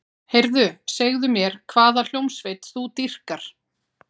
Heyrðu, segðu mér hvaða hljómsveit þú dýrkar.